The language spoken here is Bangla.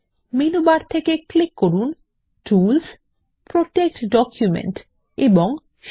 মেনু বার থেকে ক্লিক করুন টুলস প্রোটেক্ট ডকুমেন্ট এবং শীট